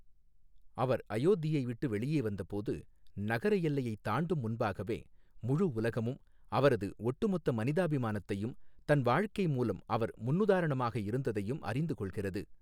அவர் அயோத்தியை விட்டு வெளியே வந்தபோது, நகரஎல்லையைத் தாண்டும் முன்பாகவே, முழு உலகமும், அவரது ஒட்டுமொத்த மனிதாபிமானத்தையும், தன் வாழ்க்கை மூலம் அவர் முன்னுதாரணமாக இருந்ததையும் அறிந்து கொள்கிறது.